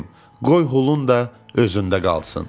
Qoy Hulun da özündə qalsın.